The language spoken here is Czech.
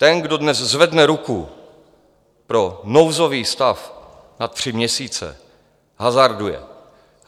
Ten, kdo dnes zvedne ruku pro nouzový stav na tři měsíce, hazarduje.